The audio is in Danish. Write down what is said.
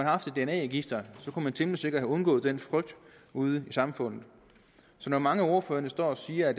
haft et dna register kunne man temmelig sikkert have undgået den frygt ude i samfundet så når mange af ordførerne står og siger at